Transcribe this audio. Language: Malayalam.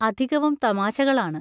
അധികവും തമാശകളാണ്.